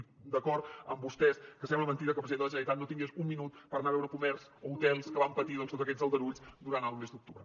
i d’acord amb vostès que sembla mentida que el president de la generalitat no tingués un minut per anar a veure comerç o hotels que van patir doncs tots aquests aldarulls durant el mes d’octubre